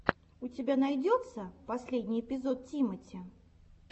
у тебя найдется последний эпизод тимати